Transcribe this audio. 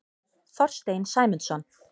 Þorstein Sæmundsson.